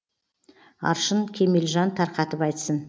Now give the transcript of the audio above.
аршын кемелжан тарқатып айтсын